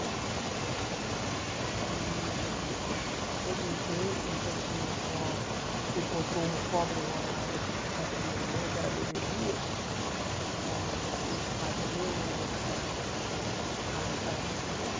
E depois de um tempo, no dia em que a minha avó encontrou uma cobra enrolada nos pés da minha mãe, que era bebezinha, ela disse que não ficaria nem uma noite mais lá naquela fazenda.